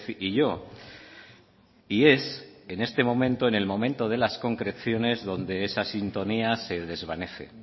y yo y es en este momento en el momento de las concreciones donde esa sintonía se desvanece